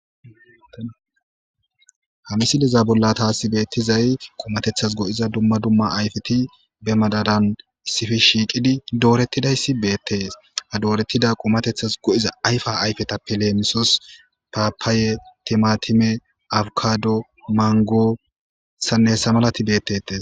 hamisileza bolla taasi beettizay qomatethas go7iza dumma dumma ayfeti be madaran issifi shiiqidi dooretidayssi beettees a doorettida qomatethas go7iza ayfa ayfeta pileemisos paapaaye timatime awkado mangosanne hessa malati beettetees